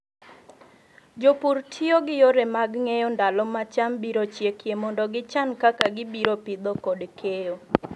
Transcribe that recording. Jopur tiyo gi yore mag ng'eyo ndalo ma cham biro nyakie mondo gichan kaka gibiro pidho kod keyo.